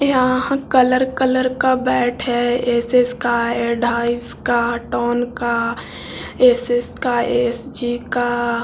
यहाँ colour colour का bat है एस.एस. का का टोन का एस.एस. का एस.जी. का --